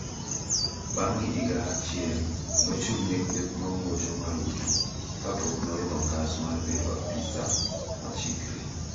Bang` higa achiel nochung`ne kweth mamuocho murutu kapok noidho ngas mar bedo apisa machikre.